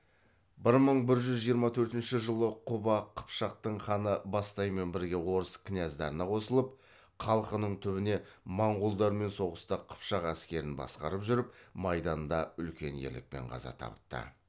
бір мың бір жүз жиырма төртінш жылы құба қыпшақтың ханы бастаймен бірге орыс кінәздарына қосылып қалқының түбіне моңғолдармен соғыста қыпшақ әскерін басқарып жүріп майданда үлкен ерлікпен қаза тапты